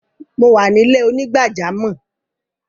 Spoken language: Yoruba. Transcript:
Mo wà ni ilẹ̀-onígbàjàmọ́.